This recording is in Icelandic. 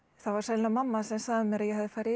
það var sennilega mamma sem sagði mér að ég hefði farið í